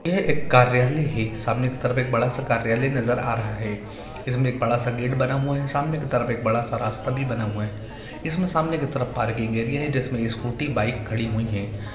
यह एक कार्यालय है | सामने की तरफ एक बड़ा सा कार्यालय नजर आ रहा है | इसमें एक बड़ा सा गेट बना हुआ है | सामने की तरफ एक बड़ा सा रास्ता भी बना हुआ है | इसमें सामने की तरफ एक पार्किंग एरिया है जिसमें स्कूटी बाइक खड़ी हुई हैं ।